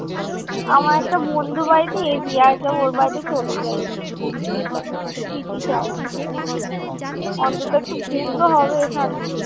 আমার একটা বন্ধু বাড়িতে AC আছে। ওর বাড়িতে চলে যাই , বিদিশা অন্তত একটু ঘুম তো হবে শান্তির।